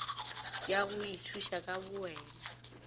ya go ithuša ka bowena